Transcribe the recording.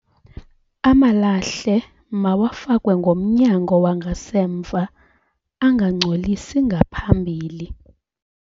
Amalahle mawafakwe ngomnyango wangasemva angangcolisi ngaphambili.